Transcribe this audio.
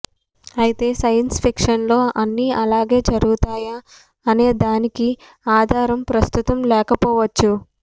అయితే సైన్స్ ఫిక్షన్లో అన్నీ అలాగే జరుగుతాయా అనేదానికి ఆధారం ప్రస్తుతం లేకపోవచ్చు